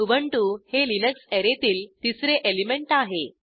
Ubuntu हे Linux अॅरेतील तिसरे एलिमेंट आहे